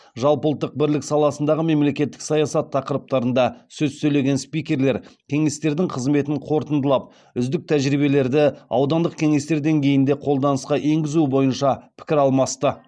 жалпыұлттық бірлік саласындағы мемлекеттік саясат тақырыптарында сөз сөйлеген спикерлер кеңестердің қызметін қорытындылап үздік тәжірибелерді аудандық кеңестер деңгейінде қолданысқа енгізу бойынша пікір алмасты